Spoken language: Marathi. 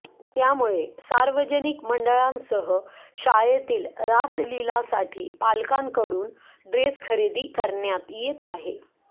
त्यामुळे सार्वजनिक मंडळांसह शाळेतील रासलीलासाठी पालकांकडून ड्रेस खरेदी करण्यात येत आहे